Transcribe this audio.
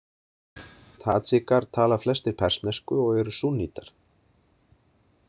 Tadsjikar tala flestir persnesku og eru súnnítar.